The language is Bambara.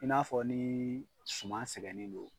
I n'a fɔ ni suman sɛgɛnnen don